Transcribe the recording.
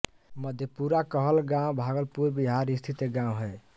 मधेपुरा कहलगाँव भागलपुर बिहार स्थित एक गाँव है